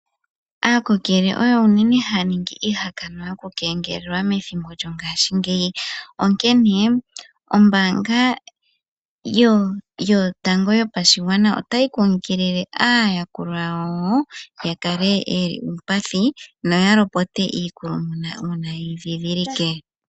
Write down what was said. Aakokele oyo unene haya ningi iihakanwa yoku kengelelwa methimbo lyongashingeyi, onkene ombaanga yotango yopashigwana otayi kunkilile aayakulwa yawo ya kale yili iipathi, noya lopote iikulumuna una yeyi dhidhilike.